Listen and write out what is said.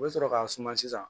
U bɛ sɔrɔ k'a suma sisan